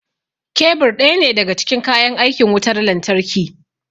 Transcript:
Kebur ɗaya ne daga cikin kayan aikin wutar lantarki